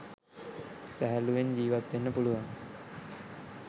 සැහැල්ලුවෙන් ජීවත් වෙන්න පුළුවන්.